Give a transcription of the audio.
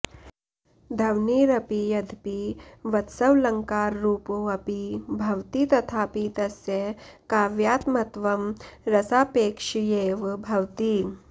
ध्वनिरपि यद्यपि वस्त्वलङ्काररूपोऽपि भवति तथापि तस्य काव्यात्मत्वं रसापेक्षयैव भवति